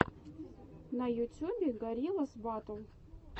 на ютюбе гориллас батл